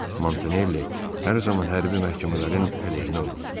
Montanelli hər zaman hərbi məhkəmələrin əleyhinə olub.